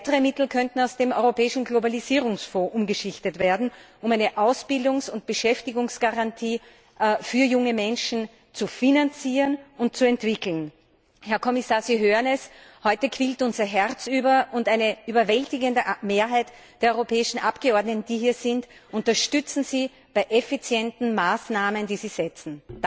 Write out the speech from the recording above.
Weitere Mittel könnten aus dem Europäischen Globalisierungsfonds umgeschichtet werden, um eine Ausbildungs und Beschäftigungsgarantie für junge Menschen zu finanzieren und zu entwickeln. Herr Kommissar, Sie hören es Heute quillt unser Herz über, und eine überwältigende Mehrheit der europäischen Abgeordneten, die hier sind, unterstützen Sie bei effizienten Maßnahmen, die Sie setzen.